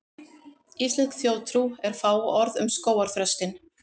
Íslensk þjóðtrú er fáorð um skógarþröstinn.